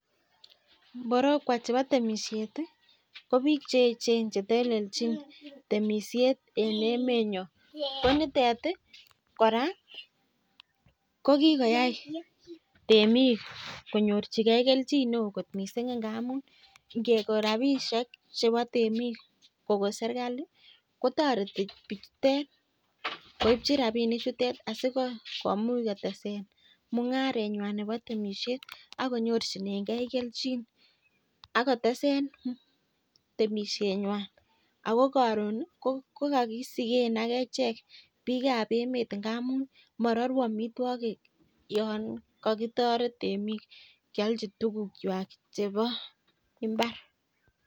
Mborokwo chebo temisiet ko biik che echen chetelelchin temisiet en emenyon, konitet kora kokikoyai temik konyorchikee kelchin ne oo missing angamun ngekoo rapisiek chebo temik kokon serikali kotoreti bichutet koipchin rapinichutet asikomuch kotesen tai mung'aremywan ne bo temisiet akonyorchinengee kelchin akotesen temisienywan kokokisiken agechek biikab emet amun mororuu amitwogik yon kokitoret temik kyolchi tugukchwak chebo mbar.